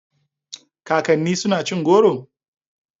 Kakanninku suna cin goro?